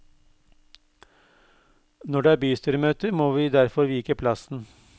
Når det er bystyremøter må vi derfor vike plassen.